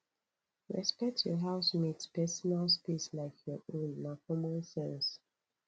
respect your housemates personal space like your own na common sense